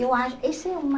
Eu acho que isso é uma...